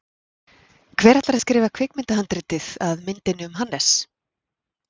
Hver ætlar að skrifa kvikmyndahandritið að myndinni um Hannes?